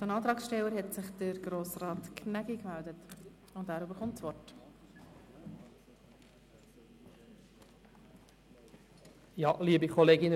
Von den Antragsstellern hat sich Grossrat Gnägi gemeldet, und er bekommt das Wort.